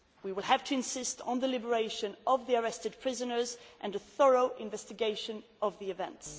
We will have to insist on the liberation of the arrested prisoners and a thorough investigation of the events.